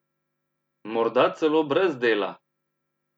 Morda celo brez dela!